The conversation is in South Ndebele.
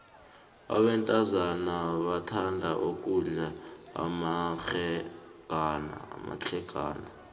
abentazana bathanda ukudlala amabhlegana